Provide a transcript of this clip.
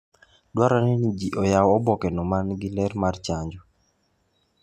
Dwarore ni ji oyaw obokeno ma nigi ler mar chanjo.